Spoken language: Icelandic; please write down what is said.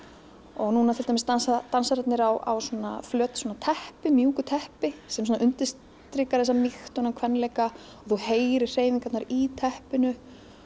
og núna til dæmis dansa dansararnir á svona fleti teppi mjúku teppi sem svona undirstrikar mýkt þennan kvenleika þú heyrir hreyfingarnar í teppinu